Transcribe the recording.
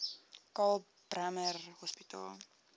karl bremer hospitaal